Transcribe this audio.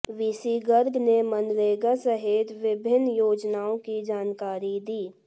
VC Garg ने मनरेगा सहित विभिन्न योजनाओ की जानकारी दी